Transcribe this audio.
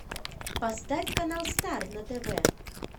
поставь канал стар на тв